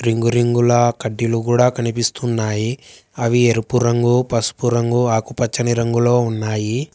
Ring రింగులా కడ్డీలు కూడా కనిపిస్తున్నాయి అవి ఎరుపు రంగు పసుపు రంగు ఆకుపచ్చని రంగులో ఉన్నాయి.